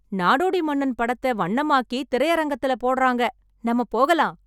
நாடோடி மன்னன் படத்தை வண்ணமாக்கி திரையரங்கத்துல போடறாங்க, நாம போகலாம்.